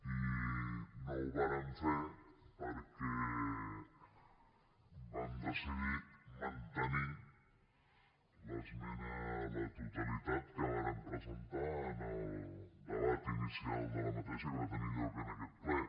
i no ho vàrem fer perquè vam decidir mantenir l’esmena a la totalitat que vàrem presentar en el debat inicial d’aquesta que va tenir lloc en aquest ple